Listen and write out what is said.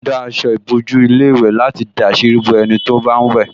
Wọ́n dá aṣọ ìbòjú ilé ìwẹ̀ láti dàsírí bo ẹni tó bá ń wẹ̀